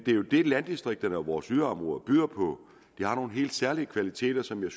jo det landdistrikterne og vores yderområder byder på de har nogle helt særlige kvaliteter som jeg